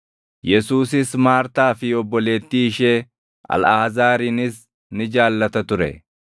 Yesuusis Maartaa fi obboleettii ishee, Alʼaazaarinis ni jaallata ture.